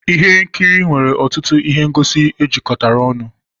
ihe nkiri nwere ọtụtụ ihe ngosi ejikọtara ọnụ